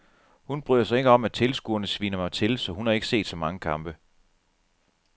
Hun bryder sig ikke om at tilskuerne sviner mig til, så hun har ikke set så mange kampe.